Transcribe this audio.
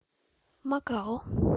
макао